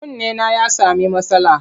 Kunnena ya sami matsala.